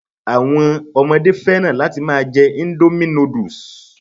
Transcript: Àwọn ọmọdé fẹ́ràn láti máa jẹ́ indomie noodles